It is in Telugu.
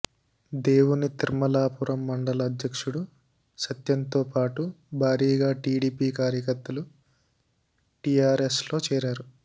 దేవుని తిర్మలాపురం మండల అధ్యక్షుడు సత్యంతో పాటు భారీగా టీడీపీ కార్యకర్తలు టీఆర్ఎస్లో చేరారు